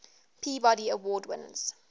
peabody award winners